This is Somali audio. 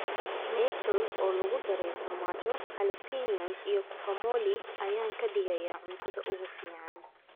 Nachos oo lagu daray farmaajo, jalape�os, iyo guacamole ayaa ka dhigaya cuntada ugu fiican.